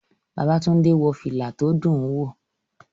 Babátúndé wọ fìlà tó dùn wò